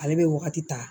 Ale bɛ wagati ta